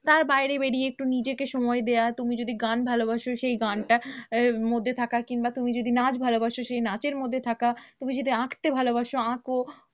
তার বাইরে বেরিয়ে একটু নিজেকে সময় দেওয়া তুমি যদি গান ভালোবাসো, সেই গানটার মধ্যে থাকা কিংবা তুমি যদি নাচ ভালোবাসো সেই নাচের মধ্যে থাকা, তুমি যদি আঁকতে ভালোবাসো আঁকো।